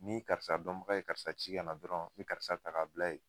Ni karisa dɔnmaga ye karisa ci kana dɔrɔn, n mi karisa ta k' a bila yen.